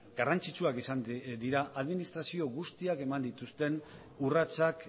garrantzitsuak izan dira administrazio guztiek eman dituzten urratsak